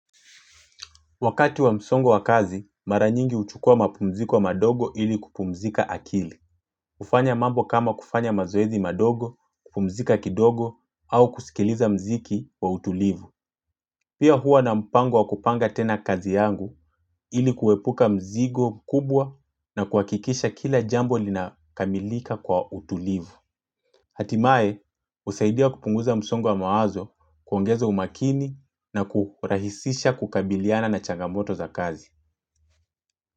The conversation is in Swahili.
Wakati wa msongo wa kazi, mara nyingi huchukua mapumziko wa madogo ili kupumzika akili. Kufanya mambo kama kufanya mazoezi madogo, kupumzika kidogo, au kusikiliza mziki wa utulivu. Pia hua na mpango wa kupanga tena kazi yangu ili kuepuka mzigo kubwa na kuhakikisha kila jambo linakamilika kwa utulivu. Hatimaye, husaidia kupunguza msongo wa mawazo kuongeza umakini na kurahisisha kukabiliana na changamoto za kazi.